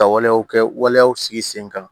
Ka waleyaw kɛ waleyaw sigi sen kan